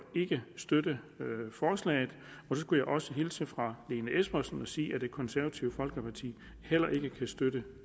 ikke støtte forslaget jeg skulle også hilse fra lene espersen og sige at det konservative folkeparti heller ikke kan støtte